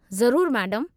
ज़रूरु मैडमु।